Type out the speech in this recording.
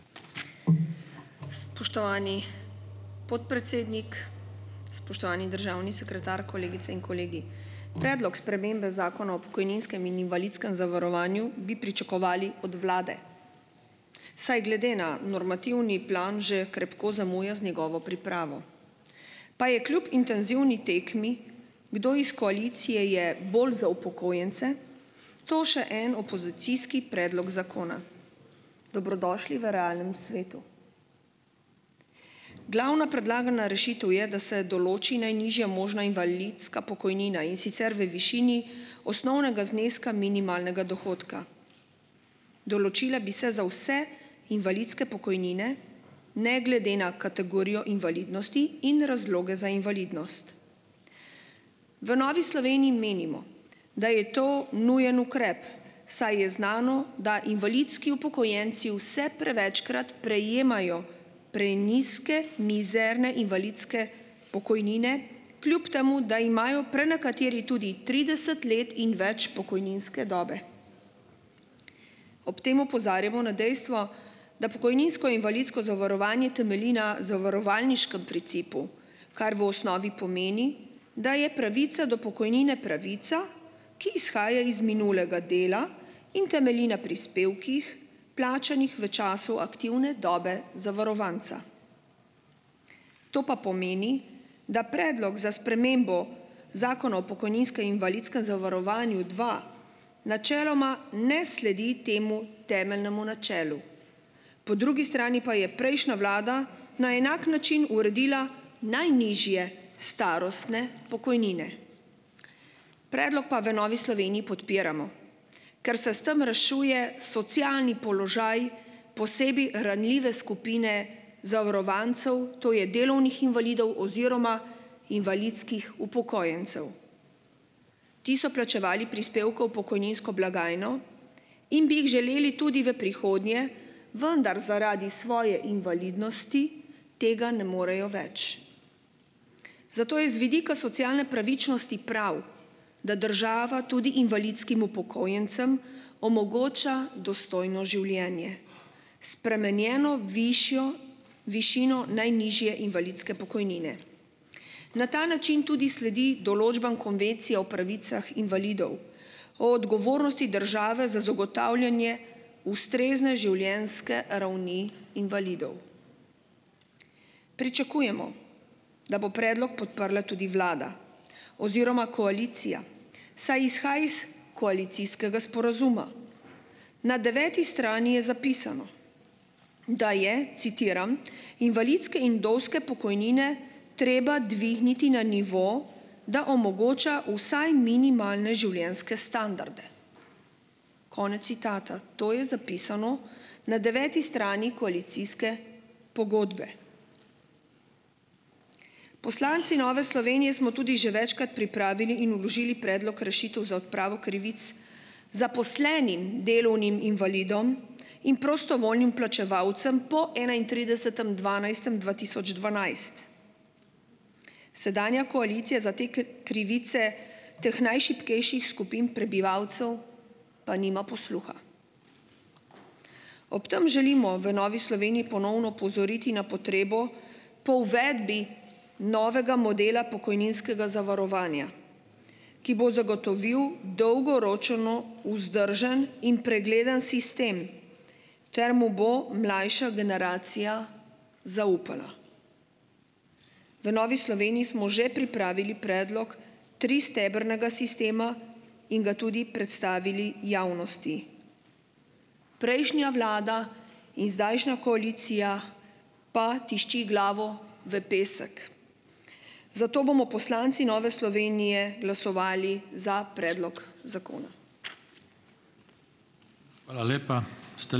Spoštovani podpredsednik, spoštovani državni sekretar, kolegice in kolegi. Predlog spremembe zakona o pokojninskem in invalidskem zavarovanju bi pričakovali od vlade, saj glede na normativni plan že krepko zamuja z njegovo pripravo, pa je kljub intenzivni tekmi, kdo iz koalicije je bolj za upokojence, to še en opozicijski predlog zakona, dobrodošli v realnem svetu. Glavna predlagana rešitev je, da se določi najnižja možna invalidska pokojnina, in sicer v višini osnovnega zneska minimalnega dohodka, določila bi se za vse invalidske pokojnine ne glede na kategorijo invalidnosti in razloga za invalidnost. V Novi Sloveniji menimo, da je to nujen ukrep, saj je znano, da invalidski upokojenci vse prevečkrat prejemajo prenizke mizerne invalidske pokojnine, kljub temu da imajo prenekateri tudi trideset let ni več pokojninske dobe, ob tem opozarjamo na dejstvo, da pokojninsko-invalidsko zavarovanje temelji na zavarovalniškem principu, kar v osnovi pomeni, da je pravica do pokojnine pravica, ki izhaja iz minulega dela in temelji na prispevkih, plačanih v času aktivne dobe zavarovanca, to pa pomeni, da predlog za spremembo zakona o pokojninsko-invalidskem zavarovanju dva načeloma ne sledi temu temeljnemu načelu, po drugi strani pa je prejšnja vlada na enak način uredila najnižje starostne pokojnine, predlog pa v Novi Sloveniji podpiramo, ker se s tem rešuje socialni položaj, posebej ranljive skupine zavarovancev, to je delovnih invalidov oziroma invalidskih upokojencev, ti so plačevali prispevkov v pokojninsko blagajno in bi jih želeli tudi v prihodnje, vendar zaradi svoje invalidnosti tega ne morejo več, zato je z vidika socialne pravičnosti prav, da država tudi invalidskim upokojencem omogoča dostojno življenje, spremenjeno višjo višino najnižje invalidske pokojnine, na ta način tudi sledi določbam konvencije o pravicah invalidov, o odgovornosti države za zagotavljanje ustrezne življenjske ravni invalidov. Pričakujemo, da bo predlog podprla tudi vlada oziroma koalicija, saj izhaja iz koalicijskega sporazuma, na deveti strani je zapisano, da je, citiram: "Invalidske in vdovske pokojnine treba dvigniti na nivo, da omogoča vsaj minimalne življenjske standarde." Konec citata. To je zapisano na deveti strani koalicijske pogodbe. Poslanci Nove Slovenije smo tudi že večkrat pripravili in vložili predlog rešitev za odpravo krivic zaposlenim delovnim invalidom in prostovoljnim plačevalcem po enaintridesetem dvanajstem dva tisoč dvanajst. Sedanja koalicija za te krivice teh najšibkejših skupin prebivalcev pa nima posluha. Ob tem želimo v Novi Sloveniji ponovno opozoriti na potrebo po uvedbi novega modela pokojninskega zavarovanja, ki bo zagotovil dolgoročno vzdržen in pregleden sistem ter mu bo mlajša generacija zaupala. V Novi Sloveniji smo že pripravili predlog tristebrnega sistema in ga tudi predstavili javnosti. Prejšnja vlada in zdajšnja koalicija pa tišči glavo v pesek, zato bomo poslanci Nove Slovenije glasovali za predlog zakona. Hvala lepa ...